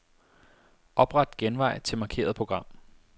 Opret genvej til markerede program.